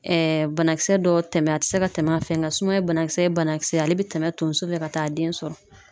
banakisɛ dɔw tɛmɛn a tɛ se ka tɛmɛ a fɛ ,nka sumaya banakisɛ ye banakisɛ ye ale bɛ tɛmɛ tonso fɛ ka taa den sɔrɔ.